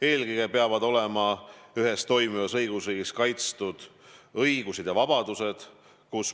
Eelkõige peavad ühes toimivas õigusriigis olema kaitstud õigused ja vabadused.